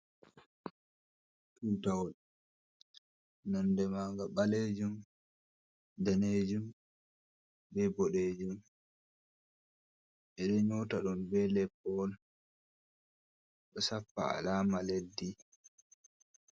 Tutawol. Nonde maanga ɓaleejum, daneejum be boɗeejum. Ɓe ɗo nyota ɗum be leppol, ɗo sappa alaama leddi.